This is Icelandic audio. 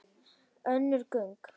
Önnur gögn.